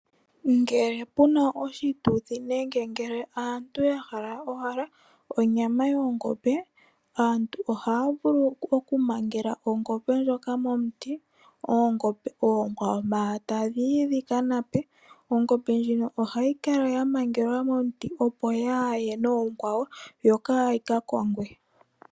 Ngele puna oshituthi nenge ngele aantu ya hala owala onyama yongombe, aantu ohaa vulu oku mangela ongombe ndyoka momuti .Oongombe okwawo manga tadhi yi dhi ka nape. Ongombe ndjono ohayi kala ya mangelwa momuti opo yaaye nookwawo no kaayi ka kongwe.